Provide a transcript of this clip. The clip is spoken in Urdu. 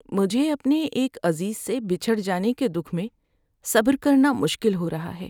مجھے اپنے ایک عزیز سے بچھڑ جانے کے دُکھ میں صبر کرنا مشکل ہو رہا ہے۔